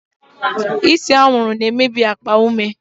Ise anwụrụ na-emebi akpa ume.